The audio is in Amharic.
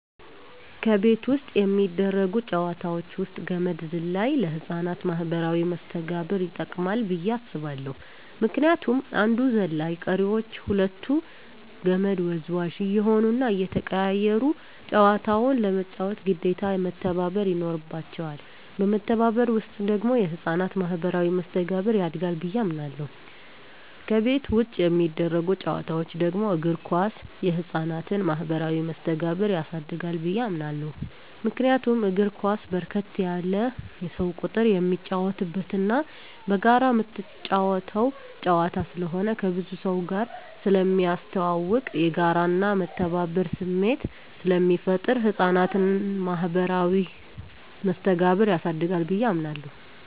ከቤት ውስጥ የሚደረጉ ጨዋታወች ውስጥ ገመድ ዝላይ ለህፃናት ማኀበራዊ መስተጋብር ይጠቅማ ብየ አስባለሁ ምክንያቱም አንዱ ዘላይ ቀሪወች ሁለቱ ከመድ ወዝዋዥ እየሆኑና እየተቀያየሩ ጨዋታውን ለመጫወት ግዴታ መተባበር ይኖርባቸዋል በመተባበር ውስጥ ደግሞ የህፃናት ማኋበራዊ መስተጋብር ያድጋል ብየ አምናለሁ። ከቤት ውጭ የሚደረጉ ጨዋታወች ደግሞ እግር ኳስ የህፃናትን ማህበራዊ መስተጋብር ያሳድጋል ብየ አምናለሁ። ምክንያቱም እግር ኳስ በርከት ያለ የሰው ቁጥር የሚጫወትበትና በጋራ ምትጫወተው ጨዋታ ስለሆነ ከብዙ ሰውጋር ስለሚያስተዋውቅ፣ የጋራና የመተባበር ስሜት ስለሚፈጥር የህፃናትን ማኀበራዊ መስተጋብር ያሳድጋል ብየ አምናለሁ።